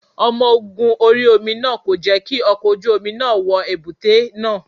Omo ogun orí omi náà kò jẹ́ kí ọkọ̀ ojú omi náà wọ èbúté náà.